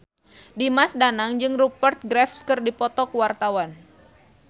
Dimas Danang jeung Rupert Graves keur dipoto ku wartawan